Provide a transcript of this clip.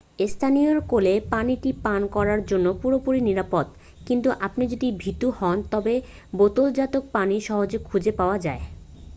স্থানীয় কলের পানিটি পান করার জন্য পুরোপুরি নিরাপদ কিন্তু আপনি যদি ভীত হন তবে বোতলজাত পানি সহজেই খুঁজে পাওয়া যায় ৷